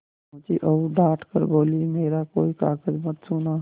पहुँची और डॉँट कर बोलीमेरा कोई कागज मत छूना